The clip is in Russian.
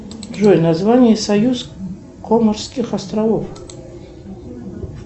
джой название союз конорских островов